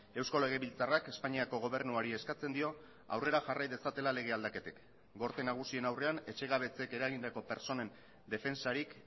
eusko legebiltzarrak espainiako gobernuari eskatzen dio aurrera jarrai dezatela lege aldaketek gorte nagusien aurrean etxegabetzeek eragindako pertsonen defentsarik